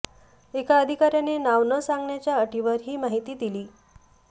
एका अधिकाऱ्याने नाव न सांगण्याच्या अटीवर ही माहिती दिली